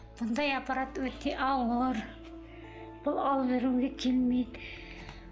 мұндай аппарат өте ауыр бұл алып жүруге келмейді